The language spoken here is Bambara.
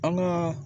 An ka